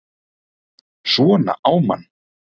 SVONA Á MANN!